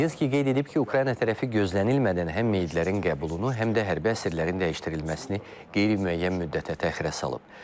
Medinski qeyd edib ki, Ukrayna tərəfi gözlənilmədən həm meyidlərin qəbulunu, həm də hərbi əsirlərin dəyişdirilməsini qeyri-müəyyən müddətə təxirə salıb.